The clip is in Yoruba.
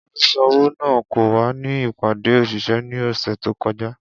Oluṣowo naa ko wa ni ipade oṣiṣẹ ni ọsẹ to kọja.